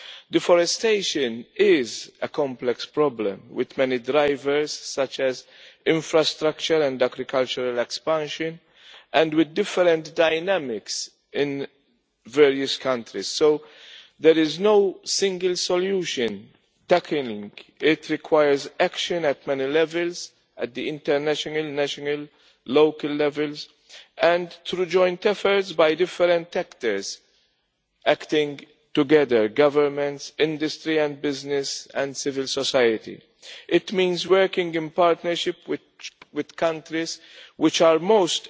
Deforestation is a complex problem with many drivers such as infrastructure and agricultural expansion and with different dynamics in various countries, so there is no single solution. Tackling it requires action at many levels at the international, national and local levels and through joint efforts by different actors, acting together governments, industry and business and civil society. It means working in partnership with countries which are most